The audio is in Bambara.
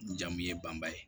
N jamu ye banba ye